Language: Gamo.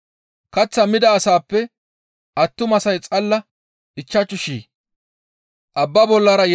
Kaththaa mida asaappe attumasay xalla ichchashu shii.